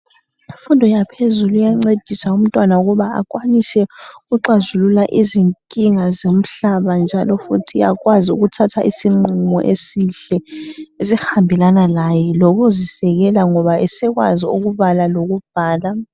Imfundo yaphezulu iyancedisa umntwana ukuba akwanise ukuxazuluka inkinga zomhlaba njalo futhi akwazi ukuthatha isinqumo esihle esihambelana laye lokuzisekela ngoba esekwazi ukubala lokubhala.